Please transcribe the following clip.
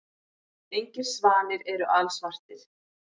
Engir svanir eru alsvartir.